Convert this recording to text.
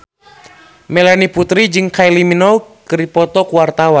Melanie Putri jeung Kylie Minogue keur dipoto ku wartawan